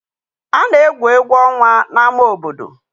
A na-egwu egwu ọnwa n'ama obodo.